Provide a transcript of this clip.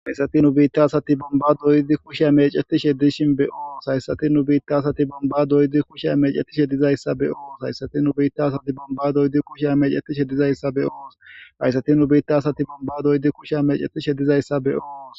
haysati nu biitta asati bomba doydi kushe amecetishe dishin be oos hayssati nubiitta asati bomba doydi kushe amecetishe dizayssa be ohos hayssati nubiitta asati bomba doydi kushe amecetishe dizayssa be ohos hayssati nu biitta asati bomba doydi kushe amecetishe dizayssa be ohos